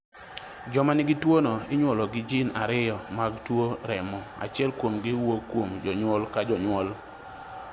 Joma nigi tuwono inyuolo gi jin ariyo mag tuwo remo, achiel kuomgi wuok kuom jonyuol ka jonyuol.